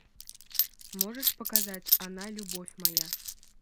можешь показать она любовь моя